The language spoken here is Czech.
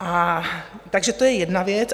Takže to je jedna věc.